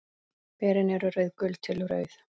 Berin eru rauðgul til rauð.